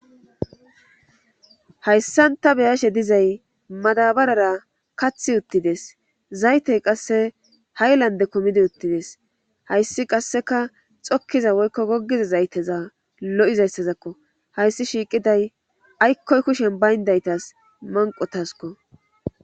Hayssanta beyashe dizay madabarara kathi uttides zaytey qasse hay lande kumidi uttides hayssi qasseka xokkiza woykko goggiza zayteza lo7izayssazakko hayssi shiiqiday aykkoy kushen bayndaytas manqotaskko.